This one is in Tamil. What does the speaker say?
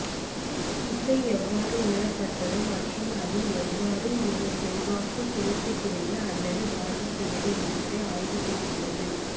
இசை எவ்வாறு உணரப்பட்டது மற்றும் அது எவ்வாறு ஒரு செல்வாக்கு செலுத்துகிறது அல்லது பாதிக்கிறது என்பதை ஆய்வு செய்கிறது